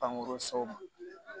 Pankurun